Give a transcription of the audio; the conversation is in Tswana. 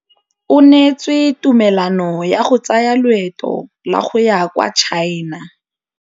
O neetswe tumalanô ya go tsaya loetô la go ya kwa China.